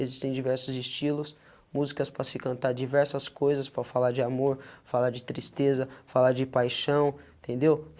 Existem diversos estilos, músicas para se cantar diversas coisas, para falar de amor, falar de tristeza, falar de paixão, entendeu?